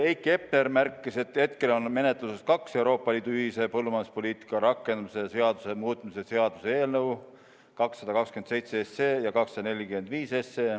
Heiki Hepner märkis, et hetkel on menetluses kaks Euroopa Liidu ühise põllumajanduspoliitika rakendamise seaduse muutmise seaduse eelnõu: 227 ja 245.